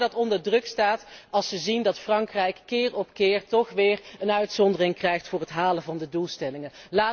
Dat vertrouwen staat onder druk als ze zien dat Frankrijk keer op keer toch weer een uitzondering krijgt voor het halen van de doelstellingen.